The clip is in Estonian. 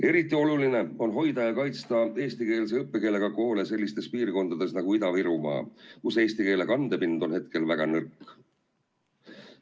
Eriti oluline on hoida ja kaitsta eesti õppekeelega koole sellistes piirkondades nagu Ida-Virumaa, kus eesti keele kandepind on hetkel väga nõrk.